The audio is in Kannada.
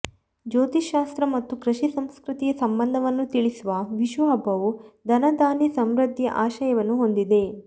ಜ್ಯೋತಿಶ್ಯಾಸ್ತ್ರ ಮತ್ತು ಕೃಷಿ ಸಂಸ್ಕೃತಿಯ ಸಂಬಂಧವನ್ನು ತಿಳಿಸುವ ವಿಷು ಹಬ್ಬವು ಧನಧಾನ್ಯ ಸಮೃದ್ಧಿಯ ಆಶಯವನ್ನು ಹೊಂದಿದೆ